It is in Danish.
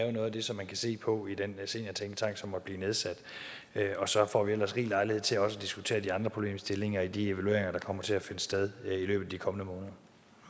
er noget af det som man kan se på i den seniortænketank som måtte blive nedsat og så får vi jo ellers rig lejlighed til også at diskutere de andre problemstillinger i de evalueringer der kommer til at finde sted i løbet af de kommende måneder